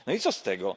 No i co z tego?